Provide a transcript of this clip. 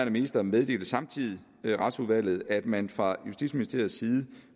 minister meddelte samtidig retsudvalget at man fra justitsministeriets side